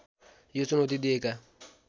यो चुनौती दिएका